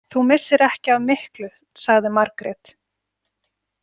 Þú missir ekki af miklu, sagði Margrét.